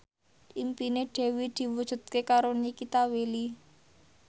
impine Dewi diwujudke karo Nikita Willy